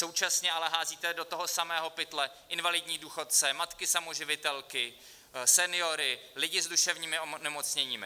Současně ale házíte do toho samého pytle invalidní důchodce, matky samoživitelky, seniory, lidi s duševními onemocněními.